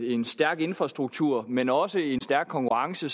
en stærk infrastruktur men også en stærk konkurrence